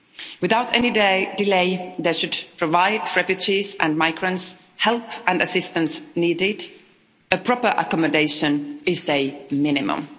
Without any delay they should provide refugees and migrants with the help and assistance needed proper accommodation is a minimum.